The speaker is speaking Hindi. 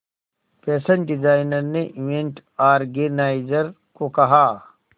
फैशन डिजाइनर ने इवेंट ऑर्गेनाइजर को कहा